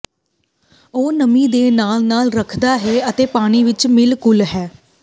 ਉਹ ਨਮੀ ਦੇ ਨਾਲ ਨਾਲ ਰੱਖਦਾ ਹੈ ਅਤੇ ਪਾਣੀ ਵਿਚ ਮਿਲ ਘੁਲ ਹੈ